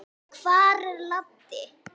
Hvar er Laddi?